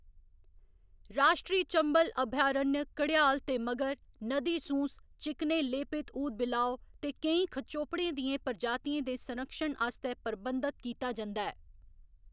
राश्ट्री चंबल अभयारण्य घड़ियाल ते मगर, नदी सूँस, चिकने लेपित ऊदबिलाव ते केईं खचोपड़ें दियें प्रजातियें दे संरक्षण आस्तै प्रबंधत कीता जंदा ऐ।